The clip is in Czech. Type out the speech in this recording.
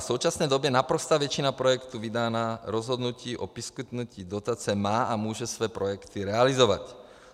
V současné době naprostá většina projektů vydaná rozhodnutí o poskytnutí dotace má a může své projekty realizovat.